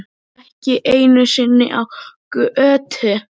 Ekki einu sinni á götu.